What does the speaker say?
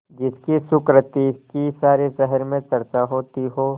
जिसकी सुकृति की सारे शहर में चर्चा होती हो